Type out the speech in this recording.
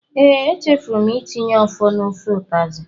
Ee, echefuru m itinye ofor na ofe utazi.